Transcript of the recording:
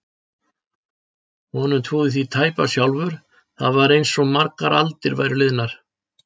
Honum trúði því tæpast sjálfur, það var einsog margar aldir væru liðnar.